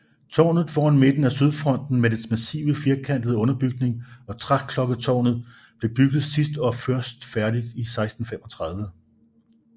Tårnet foran midten af sydfronten med dens massive firkantede underbygning og træklokketårnet blev bygget sidst og først færdigbygget i 1635